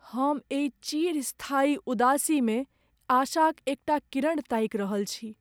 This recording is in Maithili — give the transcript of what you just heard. हम एहि चिरस्थायी उदासीमे आशाक एकटा किरण ताकि रहल छी।